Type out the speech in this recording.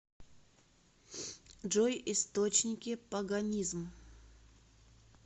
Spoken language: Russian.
джой источники паганизм